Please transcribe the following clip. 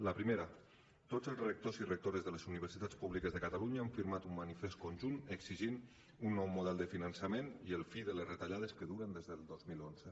la primera tots els rectors i rectores de les universitats públiques de catalunya han firmat un manifest conjunt exigint un nou model de finançament i la fi de les retallades que duren des del dos mil onze